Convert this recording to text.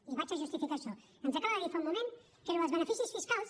i vaig a justificar això ens acaba de dir fa un moment que allò dels beneficis fiscals